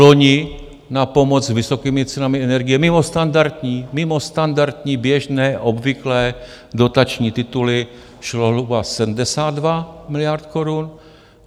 Loni na pomoc s vysokými cenami energie mimo standardní, běžné, obvyklé dotační tituly, šlo zhruba 72 miliard korun.